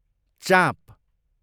चाँप